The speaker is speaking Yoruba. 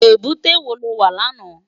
Ébùté wó ló wá làná?